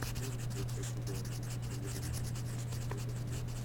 можешь поискать футбол английской премьер лиги ньюкасл против ливера